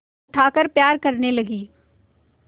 उठाकर प्यार करने लगी